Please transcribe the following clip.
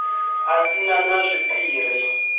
a si na na zwiphiri